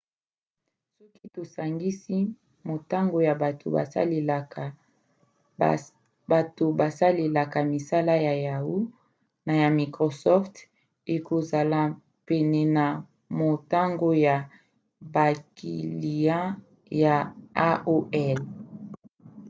soki tosangisi motango ya bato basalelaka misala ya yahoo! na ya microsoft ekozala pene na motango ya bakiliya ya aol